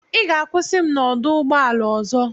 Ị ga-akwụsị m na ọdụ ụgbọ ala ọzọ.